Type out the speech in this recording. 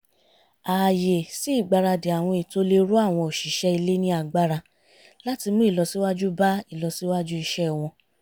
ààyè sí ìgbaradì àwọn ètò le ró àwọn òṣìṣẹ́ ilé ní agbára láti mú ìlọsíwájú bá ìlọsíwájú iṣẹ́ wọn